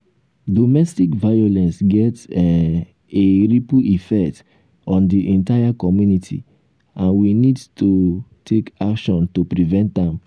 um domestic violence get um a ripple effect on di entire community and we need to um take action to prevent am.